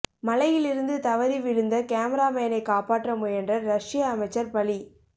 மலையிலிருந்து தவறி விழுந்த கேமராமேனை காப்பாற்ற முயன்ற ரஷ்ய அமைச்சர் பலி